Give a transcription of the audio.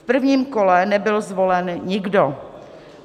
V prvním kole nebyl zvolen nikdo.